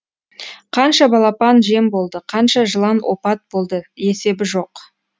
қанша балапан жем болды қанша жылан опат болды есебі жоқ